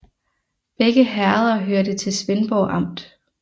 Begge herreder hørte til Svendborg Amt